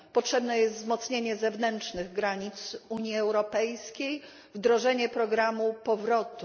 Potrzebne jest wzmocnienie zewnętrznych granic Unii Europejskiej, wdrożenie programu powrotów.